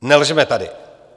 Nelžeme tady!